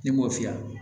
Ne m'o fiyɛ